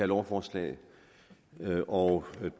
lovforslag og